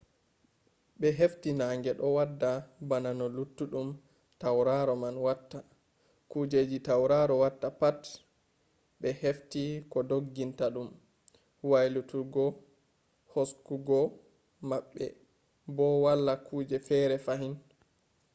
be hefti nange do wada bana no luttudum tauraro man watta; kujeji tauraro watta pat be hefti ko dogginta dum waylutuggo haskugo mabbe bo wala kuje fere fahin